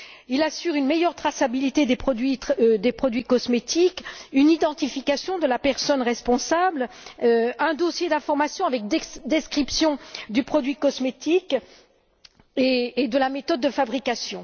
Il assure une meilleure traçabilité des produits cosmétiques, une identification de la personne responsable, un dossier d'information avec description du produit cosmétique et de la méthode de fabrication.